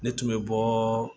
Ne tun bɛ bɔɔ